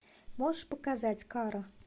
можешь показать кара